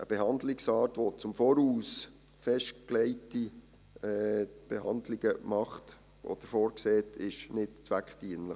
Eine Behandlungsart, die im Voraus festgelegte Behandlungen vorsieht, ist nicht zweckdienlich.